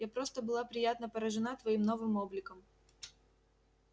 я просто была приятно поражена твоим новым обликом